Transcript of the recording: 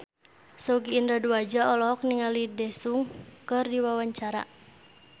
Sogi Indra Duaja olohok ningali Daesung keur diwawancara